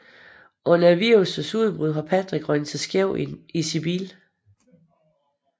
Under virussens udbrud har Patrick røget sig skæv i sin bil